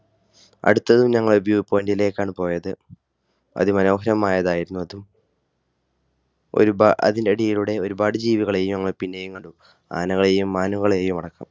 അടുത്ത് ഞങ്ങൾ View Point ലേക്കാണ് പോയത്. അതിമനോഹരമായതായിരുന്നു അത്. അതിനിടയിലൂടെ ഒരുപാട് ജീവികളെയും ഞങ്ങൾ പിന്നെയും കണ്ടു. ആനകളെയും മാനുകളെയും അടക്കം